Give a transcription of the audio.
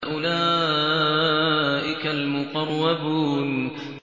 أُولَٰئِكَ الْمُقَرَّبُونَ